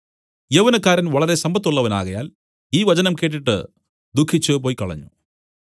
യൗവനക്കാരൻ വളരെ സമ്പത്തുള്ളവനാകയാൽ ഈ വചനം കേട്ടിട്ട് ദുഃഖിച്ചു പൊയ്ക്കളഞ്ഞു